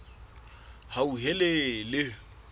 hauhelele